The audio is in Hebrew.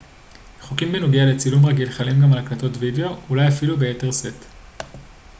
חוקים בנוגע לצילום רגיל חלים גם על הקלטת וידאו אולי אפילו ביתר שאת